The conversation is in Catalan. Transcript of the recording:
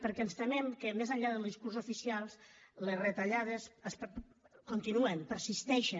perquè ens temem que més enllà del discurs oficial les retallades continuen persisteixen